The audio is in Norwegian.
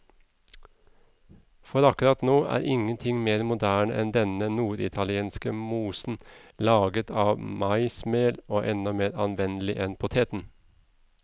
For akkurat nå er ingenting mer moderne enn denne norditalienske mosen, laget av maismel og enda mer anvendelig enn poteten.